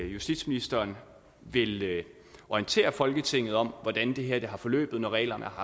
justitsministeren vil orientere folketinget om hvordan det her er forløbet når reglerne har